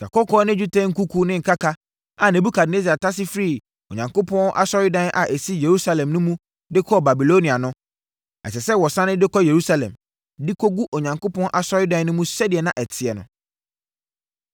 Sikakɔkɔɔ ne dwetɛ nkuku ne nkaka a Nebukadnessar tase firii Onyankopɔn asɔredan a ɛsi Yerusalem no mu de kɔɔ Babilonia no, ɛsɛ sɛ wɔsane de kɔ Yerusalem, de kɔgu Onyankopɔn asɔredan no mu sɛdeɛ na ɛteɛ no.